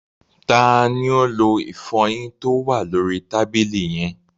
Ta ni ó lo ìfọyín tó wà lóri tàbílì yẹn?